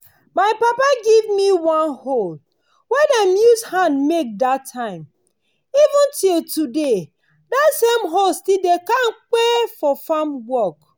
my papa give me one hoe wey dem use hand make dat time. even till today that same hoe still dey kampe for farm work.